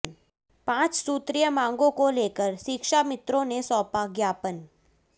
पांच सूत्रीय मांगो को लेकर शिक्षा मित्रों ने सौंपा ज्ञापन